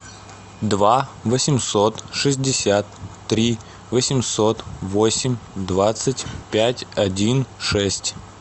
два восемьсот шестьдесят три восемьсот восемь двадцать пять один шесть